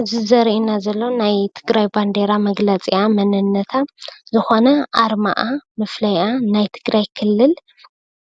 እዚ ዘርእየና ዘሎ ናይ ትግራይ ባንዴራ መግለፂኣን መንነታን ዝኾነ ኣርማኣ መፍለይኣ ናይ ትግራይ ክልል